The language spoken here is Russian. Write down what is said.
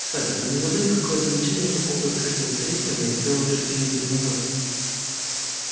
кстати вы не забыли какое замечание по поводу открытия сейфа я сделал ещё три недели назад